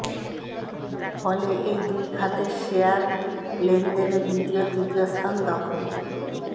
ফলে এই দুই খাতের শেয়ার লেনদেনে দ্বিতীয় ও তৃতীয় স্থান দখল